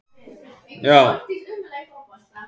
En síðan þá hefur ekkert komist að í huga hans nema tíminn.